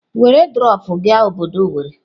Were drọpụ gaa obodo owerri!